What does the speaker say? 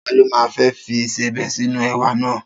Ta ló ma fẹ́ fi ìsebẹ̀ sínú èwà náà?